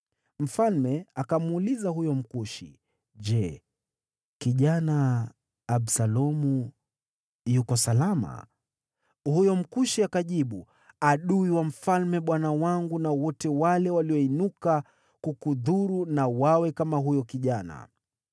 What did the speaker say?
Mfalme akamuuliza huyo Mkushi, “Je, kijana Absalomu yuko salama?” Huyo Mkushi akajibu, “Adui wa mfalme bwana wangu na wote wale walioinuka kukudhuru na wawe kama huyo kijana.”